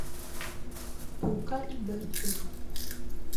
тука и берти